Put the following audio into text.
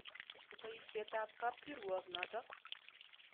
Poisyet ap kapkirwok notok.